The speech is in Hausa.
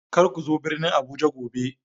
Kar ku zo birnin Abuja gobe